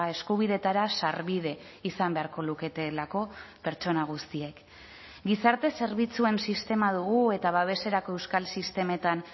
eskubideetara sarbide izan beharko luketelako pertsona guztiek gizarte zerbitzuen sistema dugu eta babeserako euskal sistemetan